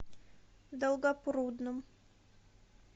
долгопрудном